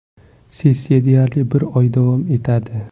Sessiya deyarli bir oy davom etadi.